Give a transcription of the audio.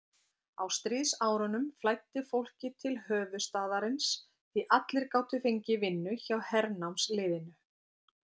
Á stríðsárunum flæddi fólkið til höfuðstaðarins, því allir gátu fengið vinnu hjá hernámsliðinu.